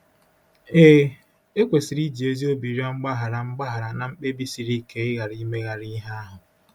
Ee, e kwesịrị iji ezi obi rịọ mgbaghara mgbaghara na mkpebi siri ike ịghara imegharị ihe ahụ.